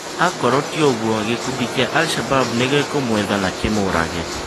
Akorwo tĩ ũgũo, gĩkundi kĩa Al Shabab nĩgĩkũmwetha na kĩmũrage.